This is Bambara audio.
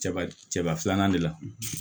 Cɛba cɛba filanan de la